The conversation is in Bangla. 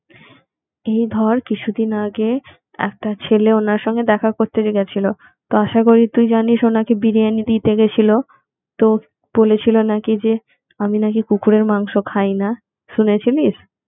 এই ধর কিছুদিন আগে একটা ছেলে ওনার সঙ্গে দেখা করতে গেছিল তো আশা করি তুই জানিস উনাকে বিরিয়ানি দিতে গেছিলো তো বলেছিল নাকি যে আমি নাকি কুকুরের মাংস খাইনা শুনে ছিলিস